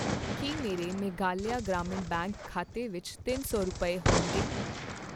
ਕੀ ਮੇਰੇ ਮੇਘਾਲਿਆ ਗ੍ਰਾਮੀਣ ਬੈਂਕ ਖਾਤੇ ਵਿੱਚ ਤਿੰਨ ਸੌ ਰੁਪਏ, ਹੋਣਗੇ ?